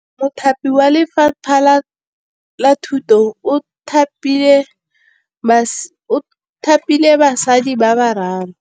Mothapi wa Lefapha la Thutô o thapile basadi ba ba raro.